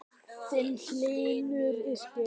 Þinn, Hlynur.